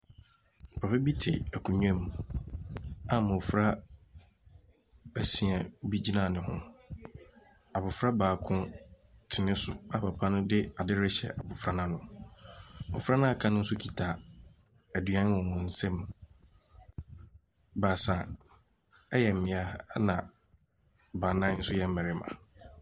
Papa bi te akonnwa mu a mmɔfra asia bi gyina ne ho. Abɔfra baako te ne so a papa no de ade rehyɛ abɔfra no ano. Mmɔfra no a wɔaka no nso kuta aduane wɔ wɔn nsam. Baasa yɛ mmea, ɛnna baanan nso yɛ mmarima.